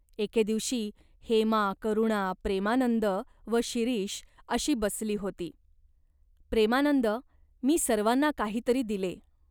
एके दिवशी हेमा, करुणा, प्रेमानंद व शिरीष अशी बसली होती. "प्रेमानंद, मी सर्वांना काही तरी दिले.